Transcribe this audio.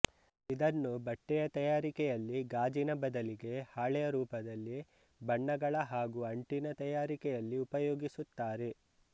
ಇದನ್ನು ಬಟ್ಟೆಯ ತಯಾರಿಕೆಯಲ್ಲಿ ಗಾಜಿನ ಬದಲಿಗೆ ಹಾಳೆಯ ರೂಪದಲ್ಲಿಬಣ್ಣಗಳ ಹಾಗೂ ಅಂಟಿನ ತಯಾರಿಕೆಯಲ್ಲಿ ಉಪಯೋಗಿಸುತ್ತಾರೆ